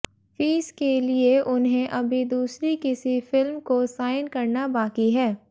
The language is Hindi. फीस के लिए उन्हें अभी दूसरी किसी फिल्म को साइन करना बाकी है